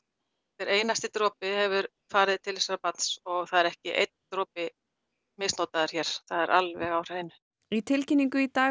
hver einasti dropi hefur farið til þessa barns og það er ekki einn dropi misnotaður hér það er alveg á hreinu í tilkynningu í dag